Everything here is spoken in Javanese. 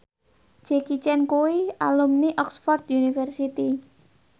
Jackie Chan kuwi alumni Oxford university